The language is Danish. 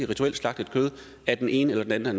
rituelt slagtet kød af den ene eller